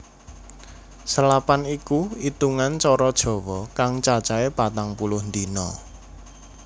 Selapan iku itungan cara jawa kang cacahé patang puluh dina